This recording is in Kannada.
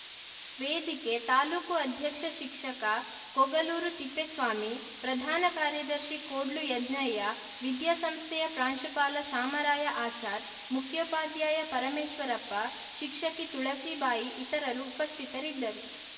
ವೇದಿಕೆ ತಾಲೂಕು ಅಧ್ಯಕ್ಷ ಶಿಕ್ಷಕ ಕೊಗಲೂರು ತಿಪ್ಪೇಸ್ವಾಮಿ ಪ್ರಧಾನ ಕಾರ್ಯದರ್ಶಿ ಕೋಡ್ಲು ಯಜ್ಞಯ್ಯ ವಿದ್ಯಾಸಂಸ್ಥೆಯ ಪ್ರಾಂಶುಪಾಲ ಶಾಮರಾಯ ಆಚಾರ್‌ ಮುಖ್ಯೋಪಾಧ್ಯಾಯ ಪರಮೇಶ್ವರಪ್ಪ ಶಿಕ್ಷಕಿ ತುಳಸಿಬಾಯಿ ಇತರರು ಉಪಸ್ಥಿತರಿದ್ದರು